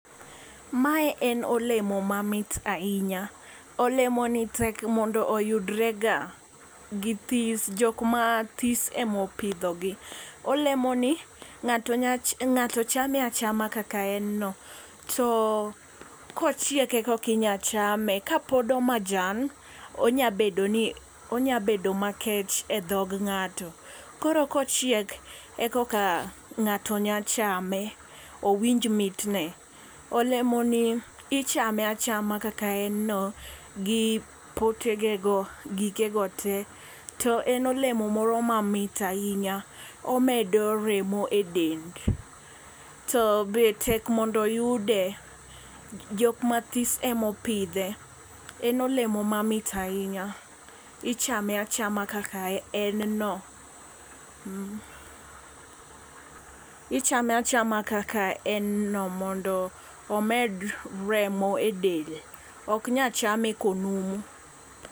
Mae en olemo ma mit ahinya. Olemo ni tek mondo yudre ga githis jok mathis emopidho gi . Olemo ni ngato nya ngato chame achama kaka en noo to kochiek ekokinya chame kapod omajan onya bedo ni onya bedo makech edhog ng'ato. Koro kochiek ekoka ng'ato nya chame owinj mitne. Olemo ni ichame achame kaka en no gi potegego gike go tee. To en olemo moro mamit ahinya omedo remo e del. To be tek mondo oyude jok mathis emopidhe en olemo mamit ahinya ichame achama kaka en no . Ichame achama kaka en no mondo omed remo e del ok nyal chame konumu.